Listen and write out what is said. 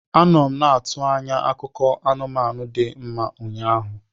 Anọ m na-atụ anya akụkọ anụmanụ dị mma ụnyaahụ.